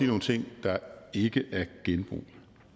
nogle ting der ikke er genbrug